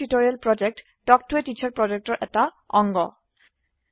কথন শিক্ষণ প্ৰকল্প তাল্ক ত a টিচাৰ প্ৰকল্পৰ এটা অংগ